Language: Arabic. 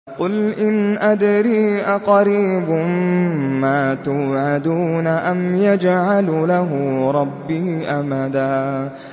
قُلْ إِنْ أَدْرِي أَقَرِيبٌ مَّا تُوعَدُونَ أَمْ يَجْعَلُ لَهُ رَبِّي أَمَدًا